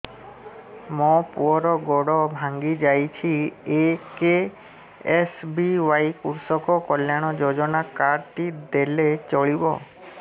ମୋ ପୁଅର ଗୋଡ଼ ଭାଙ୍ଗି ଯାଇଛି ଏ କେ.ଏସ୍.ବି.ୱାଇ କୃଷକ କଲ୍ୟାଣ ଯୋଜନା କାର୍ଡ ଟି ଦେଲେ ଚଳିବ